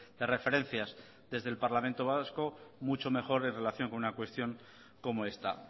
de referencias desde el parlamento vasco mucho mejor en relación con una cuestión como esta